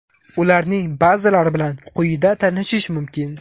Ularning ba’zilari bilan quyida tanishish mumkin.